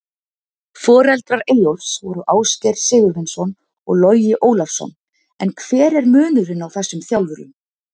Forverar Eyjólfs voru Ásgeir Sigurvinsson og Logi Ólafsson, en hver er munurinn á þessum þjálfurum?